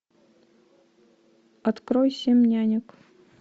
открой семь нянек